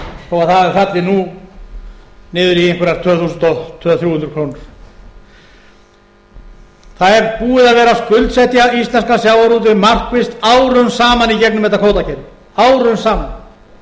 nú niður í einhverjar tvö þúsund tvö hundruð til tvö þúsund þrjú hundruð krónur það er búið að vera að skuldsetja íslenskan sjávarútveg markvisst árum saman í gegnum þetta kvótakerfi árum saman